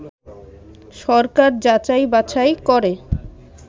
সরকার যাচাই বাছাই করে